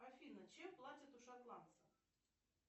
афина чем платят у шотландцев